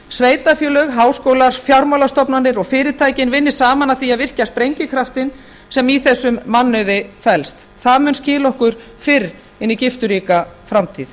sveitarfélög háskólar fjármálastofnanir og fyrirtækin vinni saman að því að virkja sprengikraftinn sem í þessum mannauði felst það mun skila okkur fyrr inn í gifturíka framtíð